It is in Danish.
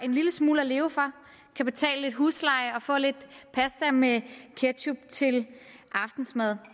en lille smule at leve for kan betale lidt husleje og få lidt pasta med ketchup til aftensmad